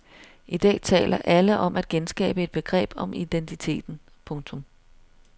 I dag taler alle om at genskabe et begreb om identiteten. punktum